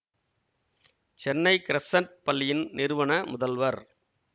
Chennai Crescent பள்ளியின் நிறுவன முதல்வர்